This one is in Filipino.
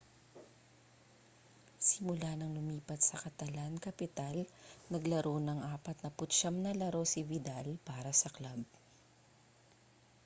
simula ng lumipat sa catalan-capital naglaro ng 49 na laro si vidal para sa club